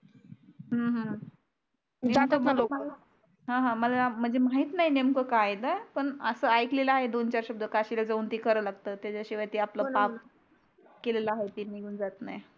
ह ह मला माहित नाही नेमकं काय आहे तर पण असं ऐकलेलं आहे दोन-चार शब्द काशीला जाऊन ते करावे लागतात त्याच्या शिवाय ते आपलं पाप केलेला आहे ते निघून जात नाही.